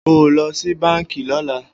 O ó lo̩ sí báǹkì ló̩la!